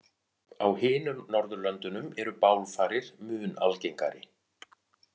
Á hinum Norðurlöndunum eru bálfarir mun algengari.